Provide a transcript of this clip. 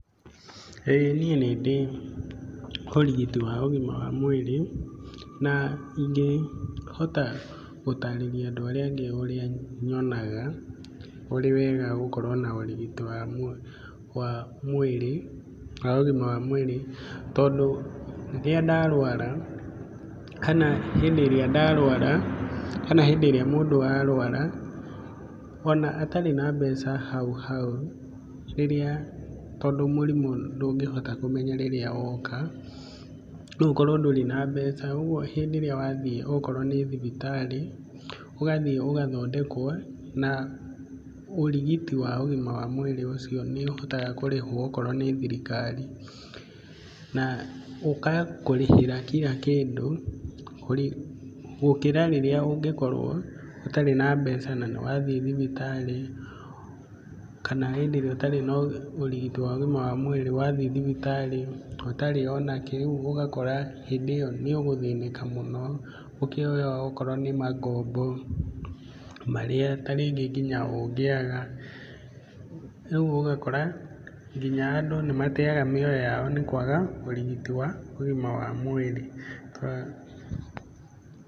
Ĩĩ niĩ nĩndĩ ũrigiti wa ũgima wa mwĩrĩ na ingĩhota gũtarĩria andũ arĩa angĩ ũrĩa nyonaga ũrĩ mwega gũkorwo na ũrigiti wa mwĩrĩ, wa ũgima wa mwĩrĩ, tondũ rĩrĩa ndarwara kana hĩndĩ ĩrĩa ndarwara kana hĩndĩ ĩrĩa mũndũ arwara, ona atarĩ na mbeca hau hau, rĩrĩa tondũ mũrimũ ndũngĩhota kũmenya rĩrĩa woka, no ũkorwo ndũrĩ na mbeca, ũguo hĩndĩ ĩrĩa wathiĩ okorwo nĩ thibitarĩ, ũgathiĩ ũgathondekwo na ũrigĩti wa ũgima wa mwĩrĩ ũcio nĩ ũhotaga kũrĩhwo okorwo nĩ thirikari, na ũgakũrĩhĩra kira kĩndũ, gũkĩra rĩrĩa ũngĩkorwo ũtarĩ na mbeca na nĩ wathiĩ thibitarĩ, kana hĩndĩ ĩrĩa ũtarĩ na ũrigiti wa ũgima wa mwĩrĩ, ũgathi thibitarĩ ũtarĩ ona kĩ, rĩu ũgakora hĩndĩ ĩo nĩ ũgũthĩnĩka mũno, ũkĩoya okorwo nĩ mangombo marĩa ta rĩngĩ ũngĩaga, rĩu ũgakora nginya andũ nĩ matega mĩoyo yao nĩ kwaga ũrigiti wa ũgima wa mwĩrĩ.